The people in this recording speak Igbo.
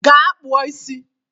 Gaa kpụọ isi